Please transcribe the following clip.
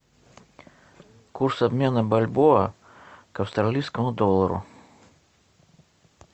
курс обмена бальбоа к австралийскому доллару